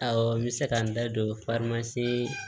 Awɔ n bɛ se ka n da don